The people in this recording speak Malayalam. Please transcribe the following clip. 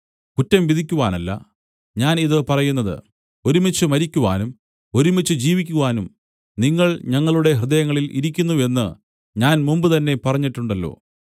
കുറ്റം വിധിക്കുവാനല്ല ഞാൻ ഇത് പറയുന്നത് ഒരുമിച്ച് മരിക്കുവാനും ഒരുമിച്ച് ജീവിക്കുവാനും നിങ്ങൾ ഞങ്ങളുടെ ഹൃദയങ്ങളിൽ ഇരിക്കുന്നു എന്ന് ഞാൻ മുമ്പുതന്നെ പറഞ്ഞിട്ടുണ്ടല്ലോ